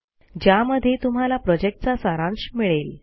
ज्यामध्ये तुम्हाला प्रॉजेक्टचा सारांश मिळेल